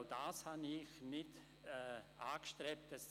auch das habe ich nicht angestrebt.